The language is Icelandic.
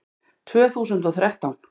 Tvö þúsund og þrettán